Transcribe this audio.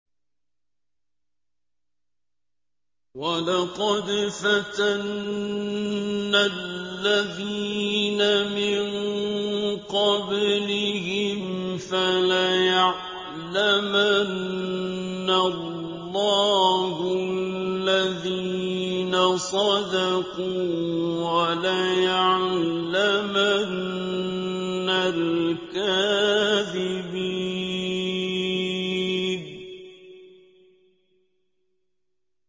وَلَقَدْ فَتَنَّا الَّذِينَ مِن قَبْلِهِمْ ۖ فَلَيَعْلَمَنَّ اللَّهُ الَّذِينَ صَدَقُوا وَلَيَعْلَمَنَّ الْكَاذِبِينَ